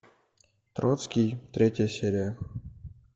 троцкий третья серия